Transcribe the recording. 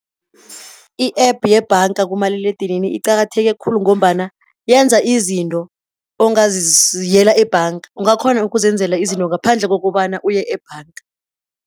I-app yebhanga kumaliledinini iqakatheke khulu, ngombana yenza izinto ongaziyela ebhanga. Ungakghona ukuzenzela izinto ngaphandle kokobana uye ebhanga.